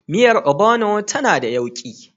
Miyar Ogbono tana da yauƙi.